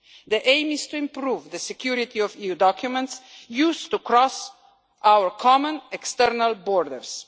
The aim is to improve the security of EU documents used to cross our common external borders.